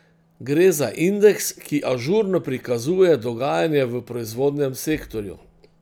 Gre za indeks, ki ažurno prikazuje dogajanje v proizvodnem sektorju.